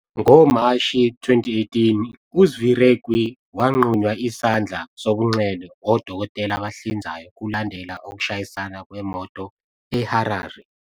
NgoMashi 2018, uZvirekwi wanqunywa isandla sobunxele odokotela abahlinzayo kulandela ukushayisana kwemoto eHarare.